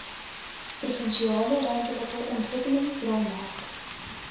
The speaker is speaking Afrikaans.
provinsiale ruimtelike ontwikkelingsraamwerk